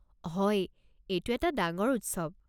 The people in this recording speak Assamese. হয়, এইটো এটা ডাঙৰ উৎসৱ।